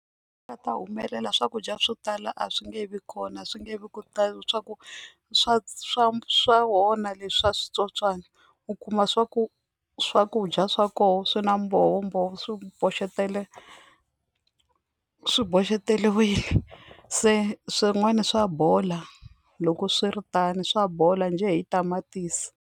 Nga ta humelela swakudya swo tala a swi nge vi kona swi nge vi swa ku swa swa swa onha leswa switsotswana u kuma swa ku swakudya swa kona swi na mbhovo mbhovo swi boxetele swi boxeteriwile se swin'wana swa bola loko swiri tano swa bola njhe hi tamatisi.